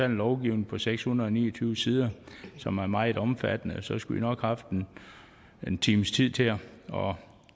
en lovgivning på seks hundrede og ni og tyve sider som er meget omfattende og så skulle man nok haft en times tid til at